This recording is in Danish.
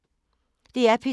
DR P2